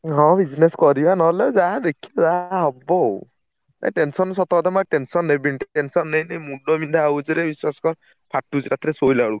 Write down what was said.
ହଁ business କରିବା ନହେଲେ ଯାହା ଦେ ଖି ଯାହା ହବ ଆଉ ଏ tension ସତକଥା ମୁଁ ଆଉ tension ନେବିନି| tension ନେଇ ନେଇ ମୁଣ୍ଡବିନ୍ଧା ହଉଛିରେ ବିଶ୍ବାସ କର, ~ଫା ~ଟୁଛି ରାତିରେ ଶୋଇଲା ବେଳକୁ।